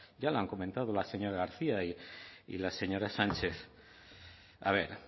ya lo han comentado la señora garcía y la señora sánchez a ver